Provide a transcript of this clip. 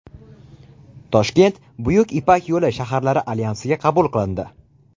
Toshkent Buyuk Ipak yo‘li shaharlari Alyansiga qabul qilindi.